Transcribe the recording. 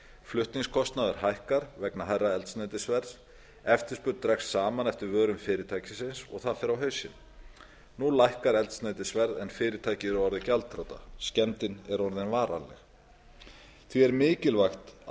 flutningskostnaður hækkar vegna hærra eldsneytisverðs eftirspurn dregst saman eftir vörum fyrirtækisins og það fer á hausinn nú lækkar eldsneytisverð en fyrirtækið er orðið gjaldþrota skemmdin er ofan varanleg því er mikilvægt að